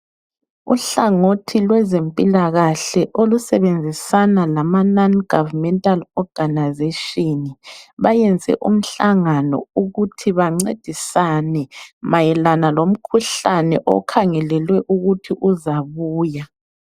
Uhlangothi lwezempilakahle olusebenzisana lama-Non Governmental Organisation bayenze umhlangano ukuthi bancedisane mayelana lomkhuhlane okuthwe uzabuya.